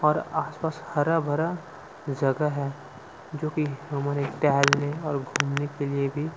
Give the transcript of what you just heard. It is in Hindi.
और आसपास हरे-भरे जगह है जो की हमारे टहलने और घूमने के लिए भी--